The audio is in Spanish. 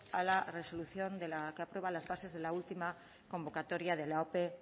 a la resolución que aprueba las bases de la última convocatoria de la ope